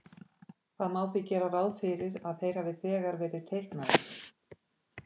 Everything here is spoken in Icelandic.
Það má því gera ráð fyrir að þeir hafi þegar verið teiknaðir.